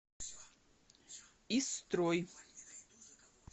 истрой